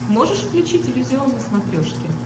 можешь включить иллюзион на смотрешке